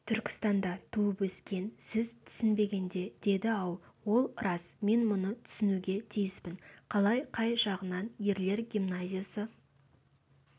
түркістанда туып-өскен сіз түсінбегенде деді-ау ол рас мен мұны түсінуге тиіспін қалай қай жағынан ерлер гимназиясы